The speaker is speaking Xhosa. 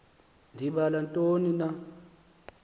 ndibala ntoni na